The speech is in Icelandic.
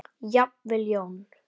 Jafnvel Jón